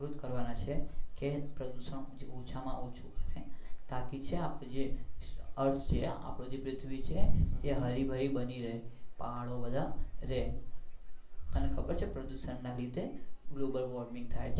આપણે એજ કરવના છીએ કે પ્રદુશન ઓછા માં ઓછું થાય તાકી છે ને આપણી જે earth છે આપણી ને પૃથ્વી છે એ હરીભરી બની રહે પહાડો બધા રે તને ખબર છે પ્રદુશન લીધે global worming થાય